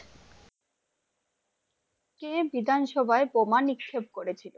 কে বিধানসভায় বোমা নিক্ষেপ করে ছিল?